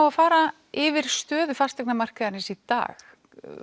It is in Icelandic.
að fara yfir stöðu fasteignamarkaðarins í dag